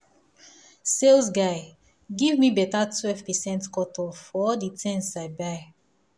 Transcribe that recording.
sales guy give me better 12 percent cut off for all the things i buy.